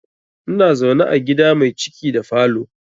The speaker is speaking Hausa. Ina zaune a gida mai ciki da falo